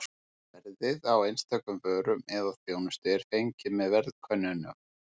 Verðið á einstökum vörum eða þjónustu er fengið með verðkönnunum.